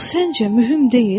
Bu səncə mühüm deyil?